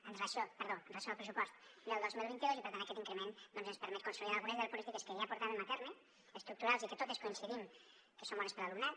amb relació perdó al pressupost del dos mil vint dos i per tant aquest increment ens permet consolidar algunes de les polítiques que ja portàvem a terme estructurals i que totes coincidim que són bones per a l’alumnat